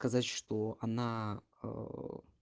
сказать что она о